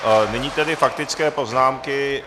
Nyní tedy faktické poznámky.